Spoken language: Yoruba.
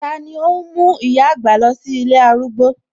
Tani óhún mú ìyá àgbà lọ sí ilé arúgbó?